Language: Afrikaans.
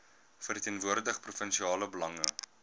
verteenwoordig provinsiale belange